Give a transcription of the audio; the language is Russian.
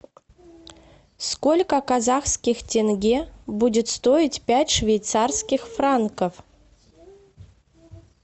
сколько казахских тенге будет стоить пять швейцарских франков